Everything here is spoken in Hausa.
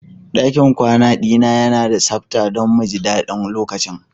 Dakin kwana dina yana da sabta don mu ji daɗin lokacin.